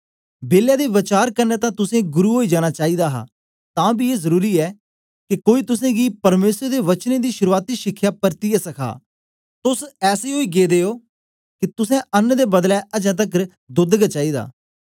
बेलै दे वचार कन्ने तां तुसें गुरु ओई जाना चाईदा हा तां बी ए जरुरी ऐ के कोई तुसेंगी परमेसर दे वचनें दी शुरूआती शिखया परतियै सखा तोस ऐसे ओई गेदे ओ के तुसें अन्न दे बदले अजें तकर दोद्द गै चाईदा